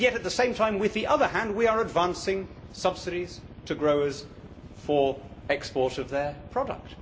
Yet at the same time, with the other hand, we are advancing subsidies to growers for the export of their product.